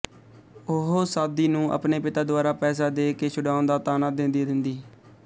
ਉਹ ਸਾਦੀ ਨੂੰ ਆਪਣੇ ਪਿਤਾ ਦੁਆਰਾ ਪੈਸਾ ਦੇ ਕੇ ਛੁਡਾਉਣ ਦਾ ਤਾਅਨਾ ਦੇੰਦੀ ਰਹਿੰਦੀ